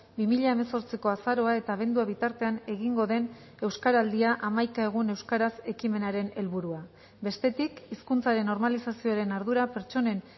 bi mila hemezortziko azaroa eta abendua bitartean egingo den euskaraldia hamaika egun euskaraz ekimenaren helburua bestetik hizkuntzaren normalizazioaren ardura pertsonen